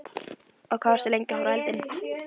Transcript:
Og hvað, varstu lengi að horfa á eldinn?